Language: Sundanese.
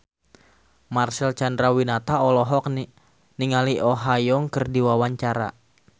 Marcel Chandrawinata olohok ningali Oh Ha Young keur diwawancara